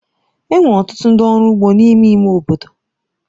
E nwere ọtụtụ ndị ọrụ ugbo n’ime ime obodo m.